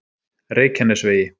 Reykjanesvegi